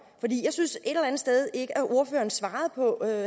synes et eller andet sted ikke at ordføreren svarede på